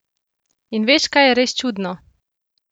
In veš, kaj je res čudno?